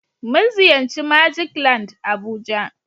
mun ziyarci " magic land"abuja.